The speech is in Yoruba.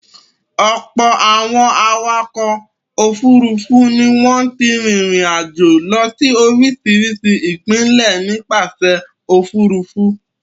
Ọ̀pọ̀ àwọn awakọ̀ òfurufú ni wọ́n ti rìnrìn-àjò lọ sí oríṣiríṣi ìpínlẹ̀ nípasẹ̀ òfurufú.